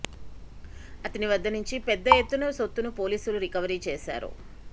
అతని వద్ద నుంచి పెద్ద ఎత్తున సొత్తును పోలీసులు రికవరీ చేశారు